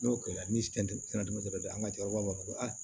N'o kɛra ni dɔ ye an ka cɛkɔrɔba b'a fɔ ko